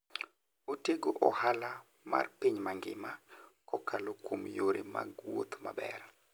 Otego ohala mar piny mangima kokalo kuom yore mag wuoth maber.